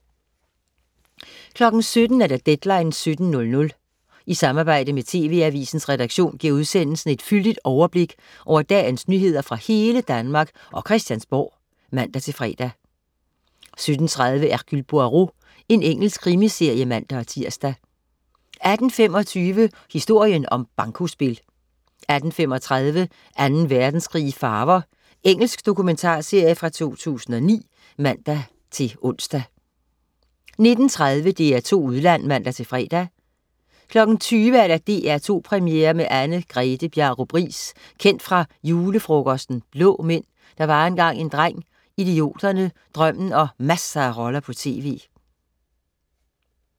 17.00 Deadline 17:00. I samarbejde med TV-AVISENS redaktion giver udsendelsen et fyldigt overblik over dagens nyheder fra hele Danmark og Christiansborg (man-fre) 17.30 Hercule Poirot. Engelsk krimiserie (man-tirs) 18.25 Historien om bankospil 18.35 Anden Verdenskrig i farver. Engelsk dokumentarserie fra 2009 (man-ons) 19.30 DR2 Udland (man-fre) 20.00 DR2 Premiere med Anne-Grethe Bjarup Riis. Kendt fra "Julefrokosten", "Blå Mænd", "Der var engang en dreng", "Idioterne", "Drømmen" og masser af roller på tv